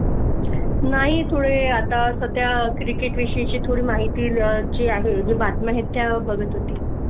नाही ते आता सध्या Cricket विषयी थोडी माहिती जी आहे ती बातमी आहे त्या बघत होती